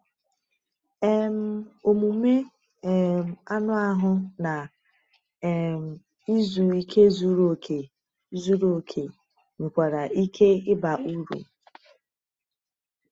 um Omume um anụ ahụ na um izu ike zuru oke zuru oke nwekwara ike ịba uru.